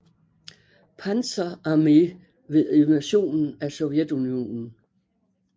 Panzer Armee ved invasionen af Sovjetunionen